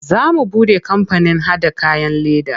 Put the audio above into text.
Za mu buɗe kampanin haɗa kayan leda.